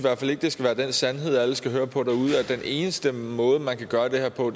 det skal være den sandhed alle skal høre på derude at den eneste måde man kan gøre det her på